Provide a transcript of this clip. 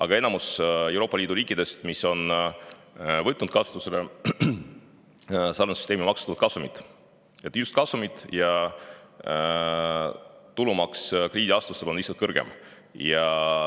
Aga enamik Euroopa Liidu riike, kes on võtnud kasutusele sarnase süsteemi, on maksustanud kasumit, just kasumit, ja tulumaks on krediidiasutustel lihtsalt kõrgem.